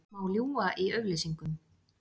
Má ljúga í auglýsingum?